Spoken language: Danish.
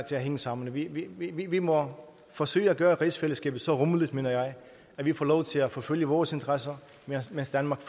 til at hænge sammen vi vi må forsøge at gøre rigsfællesskabet så rummeligt mener jeg at vi får lov til at forfølge vores interesser mens danmark